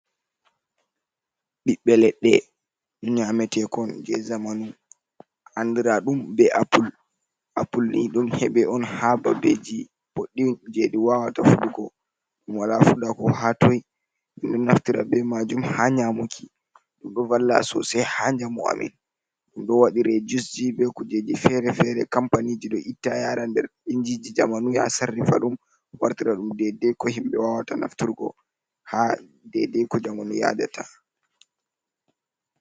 Ɓiɓɓe leɗɗe nyametekon je zamanu andira ɗum be appul, appul ni ɗum heɓe on ha babbeji ɓoɗɗum je ɗi wawata fuɗu go, ɗum wala fuɗa ko hattoi minɗo naftira be majum ha nyamuki, ɗum ɗo valla sosai ha njamu amin. Ɗum ɗo waɗire jusji be kujeji fere-fere, kampani je ɗo itta yara nder injiji zamanu ya sarrifa ɗum wartira ɗum dedde ko himɓe wawata nafturgo ha dede ko jamanu yadata.